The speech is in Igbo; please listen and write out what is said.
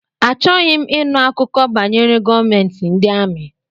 Achọghị m ịnụ akụkọ banyere gọọmentị ndị amị.